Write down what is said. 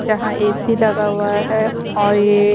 जहां ए_सी लगा हुआ है और ये--